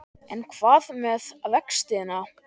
En hvað með vextina?